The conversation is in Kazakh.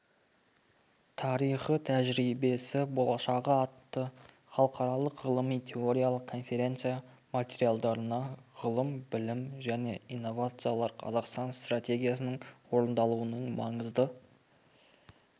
тарихы тәжірибесі болашағы атты халықаралық ғылыми-теориялық конференция материалдарына ғылым білім және инновациялар қазақстан стратегиясының орындалуының маңызды